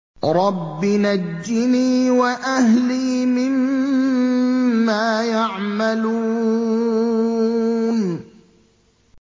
رَبِّ نَجِّنِي وَأَهْلِي مِمَّا يَعْمَلُونَ